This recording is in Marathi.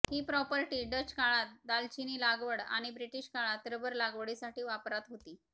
हि प्रॉपर्टी डच काळात दालचिनी लागवड आणि ब्रिटिश काळात रबर लागवडीसाठी वापरात होती